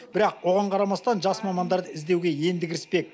бірақ оған қарамастан жас мамандарды іздеуге енді кіріспек